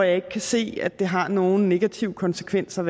ikke se at det har nogen negative konsekvenser